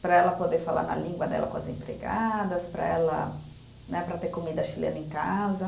para ela poder falar na língua dela com as empregadas, para ela né, para ter comida chilena em casa.